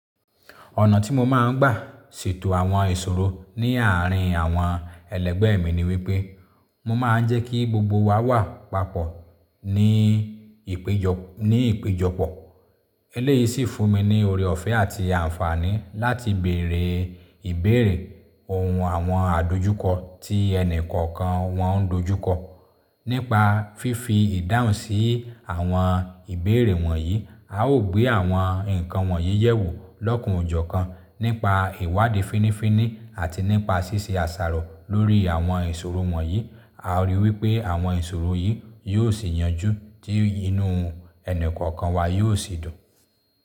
Ọ̀nà tí mo máa ń gbà se tò àwọn ìṣòro ní àárín àwọn ẹlẹgbẹ́ mi ni wípé, mo máa ń jẹ́ kí gbogbo wa wà papọ̀ ní ìpéjọpọ̀. Eléyìí sì fún mi ní ore ọ̀fẹ́ àti àǹfààní láti bèrè ìbéèrè. Òun awọn adojukọ ti enikan kàn wọn n dojukọ. Nípa fífi ìdáhùn sí àwọn ìbéèrè wọ̀nyí, a ó gbé àwọn nǹkan wọ̀nyí yẹ̀ wò lọ́kùnúnjọ̀kan nípa ìwádìí fínífíní àti nípa ṣíṣe àsàrò lórí àwọn ìṣòro wọ̀nyí. A rí i wípé àwọn ìṣòro yìí yóò sì yanjú tí inú ẹni kọ̀ọ̀kan wa yóò sì dùn.